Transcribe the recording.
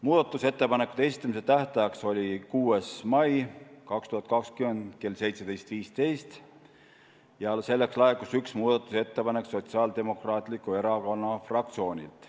Muudatusettepanekute esitamise tähtaeg oli 6. mai 2020 kell 17.15 ja selleks ajaks laekus üks muudatusettepanek Sotsiaaldemokraatliku Erakonna fraktsioonilt.